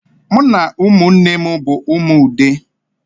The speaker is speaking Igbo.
M na umunnem bu umu Ude